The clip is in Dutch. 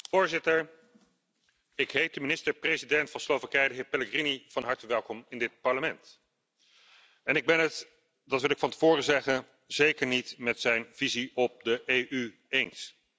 Voorzitter, ik heet de minister president van Slowakije, de heer Pellegrini, van harte welkom in dit Parlement. Ik ben het dat wil ik van tevoren zeggen zeker niet met zijn visie op de EU eens.